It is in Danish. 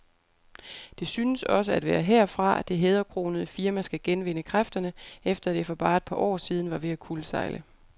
Det synes også at være herfra, det hæderkronede firma skal genvinde kræfterne, efter at det for bare et par år siden var ved at kuldsejle.